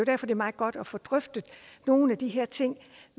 er meget godt at få drøftet nogle af de her ting